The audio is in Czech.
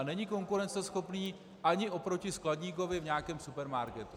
A není konkurenceschopný ani oproti skladníkovi v nějakém supermarketu.